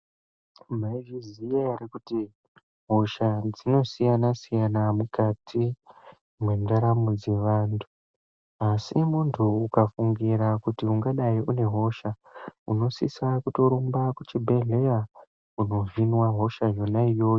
Maizviziya ere kuti hosha dzinosiyana siyana mukati mwendaramo dzevantu asi muntu ukafungira kuti ungadai une hosha unosisa kutorumba kuchibhedhlera kunovhinwa hosha yona iyoyo.